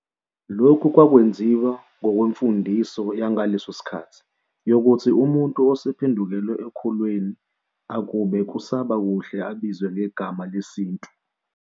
Lokhu kwakwenziwa ngokwemfundiso yangaleso sikhathi yokuthi umuntu osephendukele ekukholweni akube kusaba kuhle abizwe ngegama lesintu.